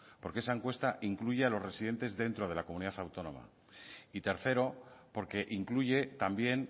porque esa encuesta incluye a los residentes dentro de la comunidad autónoma y tercero porque incluye también